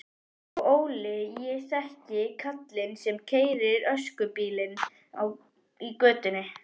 Og Óli, ég þekki kallinn sem keyrir öskubílinn í götunni.